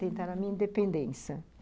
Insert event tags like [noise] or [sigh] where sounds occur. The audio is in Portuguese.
[unintelligible] Tentar a minha independência.